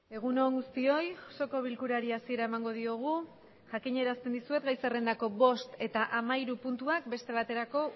egun on guztioi osoko bilkurari hasiera emango diogu jakiñe erazten dizue gai zerrendako bost eta amairu puntuak bestebaterako